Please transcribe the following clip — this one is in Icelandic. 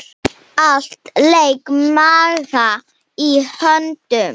Allt lék Magga í höndum.